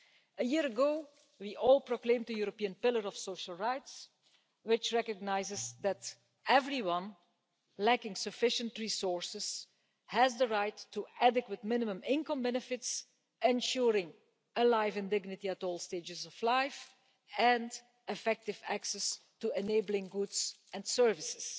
A year ago we all proclaimed the European Pillar of Social Rights, which recognises that everyone lacking sufficient resources has the right to adequate minimum income benefits ensuring a life in dignity at all stages of life, and effective access to enabling goods and services.